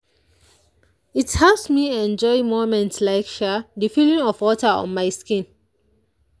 it helps me enjoy moments like the feeling of water on my skin.